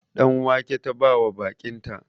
Ɗan wake ta bawa baƙinta